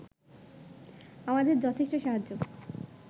আমাদের যথেষ্ট সাহায্য